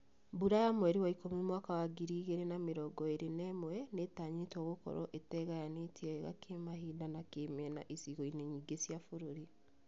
Mbura ya mweri wa ikũmi mwaka wa ngiri igĩrĩ na mĩrongo ĩrĩ na ĩmwe nĩtanyĩtwo gũkorwo ĩtegayanĩtie wega kĩmahinda na kĩmĩena icigo-inĩ nyingĩ cĩa bũrũri